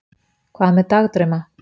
hvað með dagdrauma